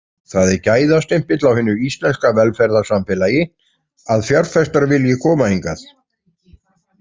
Það er gæðastimpill á hinu íslenska velferðarsamfélagi að fjárfestar vilji koma hingað.